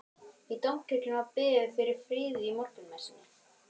Í Dómkirkjunni var beðið fyrir friði í morgunmessunni.